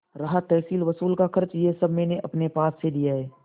रहा तहसीलवसूल का खर्च यह सब मैंने अपने पास से दिया है